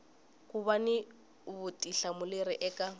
ku va ni vutihlamuleri eka